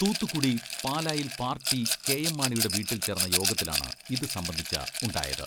തൂത്തുക്കുടി പാലായിൽ പാർട്ടി കെ.എം.മാണിയുടെ വീട്ടിൽ ചേർന്ന യോഗത്തിലാണ് ഇത് സംബന്ധിച്ച ഉണ്ടായത്.